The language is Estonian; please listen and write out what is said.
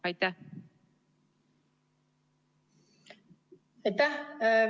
Aitäh!